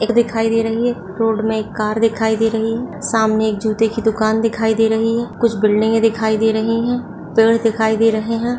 दिखाई दे रही है रोड मे एक कार दिखाई दे रही है सामने एक जूते की दूकान दिखाई दे रही है कुछ बिल्डिंगें दिखाई दे रही हैं पेड़ दिखाई दे रही हैं ।